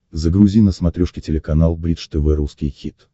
загрузи на смотрешке телеканал бридж тв русский хит